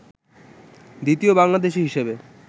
দ্বিতীয় বাংলাদেশী হিসাবে